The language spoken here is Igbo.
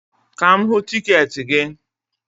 Ka m hụ tiketi gị